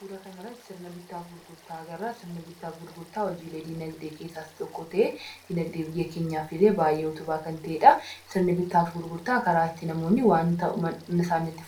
Suuraa kanarratti sirna bittaafi gurgurtaa agarra. Sirni bittaa fi gurgurtaa hojiikee dinagdee keessaa isa tokko ta'ee hojeelee diinagdeef illee baay'ee utubaa kan ta’edha. Sirni bittaa fi gurgurtaa karaa itti namootni wanta